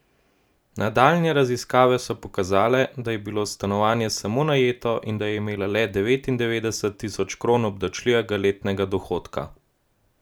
Nadaljnje raziskave so pokazale, da je bilo stanovanje samo najeto in da je imela le devetindevetdeset tisoč kron obdavčljivega letnega dohodka.